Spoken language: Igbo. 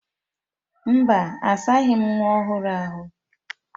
Mba, asaghị m nwa ọhụrụ ahụ.